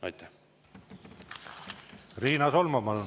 Riina Solman, palun!